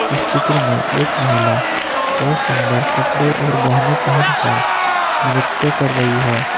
इस चित्र में एक महिला बहोत सुंदर कपड़े और गहने पहेन कर नृत्य कर रही है।